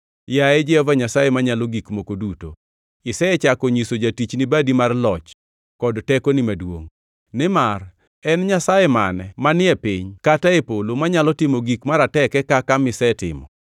“Yaye Jehova Nyasaye Manyalo Gik Moko Duto, isechako nyiso jatichni badi mar loch kod tekoni maduongʼ. Nimar en nyasaye mane manie piny kata e polo manyalo timo gik marateke kaka misetimo?